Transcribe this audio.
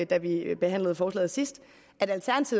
da vi behandlede forslaget sidst